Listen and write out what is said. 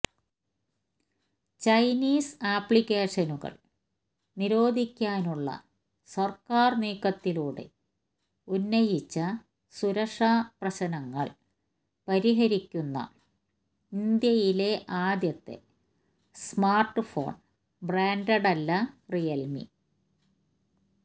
Chinese ആപ്ലിക്കേഷനുകൾ നിരോധിക്കാനുള്ള സർക്കാർ നീക്കത്തിലൂടെ ഉന്നയിച്ച സുരക്ഷാ പ്രശ്നങ്ങൾ പരിഹരിക്കുന്ന ഇന്ത്യയിലെ ആദ്യത്തെ സ്മാർട്ട്ഫോൺ ബ്രാൻഡല്ല റിയൽമി